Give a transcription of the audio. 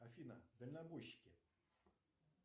афина дальнобойщики